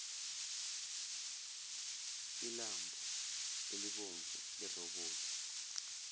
ilambhu elibomvu lerobothi